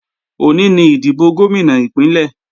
Òní ni ìdìbò Gómìnà Ìpínlẹ̀